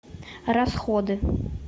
расходы